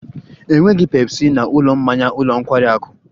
Enweghị Pepsi na ụlọ mmanya ụlọ nkwari akụ